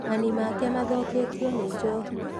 Manii make mathũkĩtio nĩ Njohi.